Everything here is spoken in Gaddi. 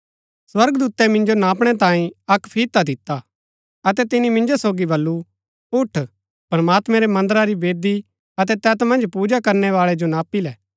स्वर्गदूतै मिंजो नापणै तांयें अक्क फिता दिता अतै तिनी मिन्जो सोगी बल्लू उठ प्रमात्मैं रै मन्दरा री वेदी अतै तैत मन्ज पूजा करनैवाळै जो नापी लै